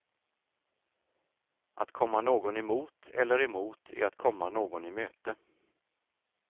Att komma någon i mot eller emot är att komma någon i möte.